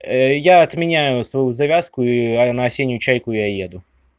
я отменяю свою завязку и на осеннюю чайку я еду